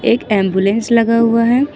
एक एंबुलेंस लगा हुआ है।